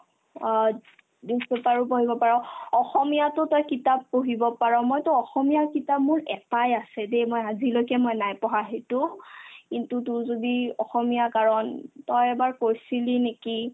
অ, news paper ও পঢ়িব পাৰ , অসমীয়াতো তই কিতাপ পঢ়িব পাৰ মই তোক অসমীয়াৰ কিতাপ মোৰ এটাই আছে দে মই আজিলৈকে মই নাই পঢ়া সেইটো কিন্তু তোৰ যদি অসমীয়া কাৰণ তই এবাৰ পঢ়ছিলি নেকি ?